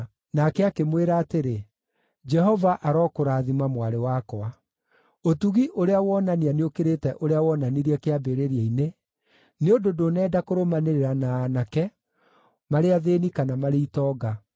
Nake akĩmwĩra atĩrĩ, “Jehova arokũrathima mwarĩ wakwa. Ũtugi ũrĩa wonania nĩũkĩrĩte ũrĩa wonanirie kĩambĩrĩria-inĩ, nĩ ũndũ ndũnenda kũrũmanĩrĩra na aanake, marĩ athĩĩni kana marĩ itonga.